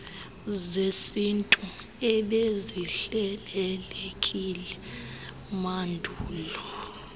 zesintu ebezihlelelekile mandulo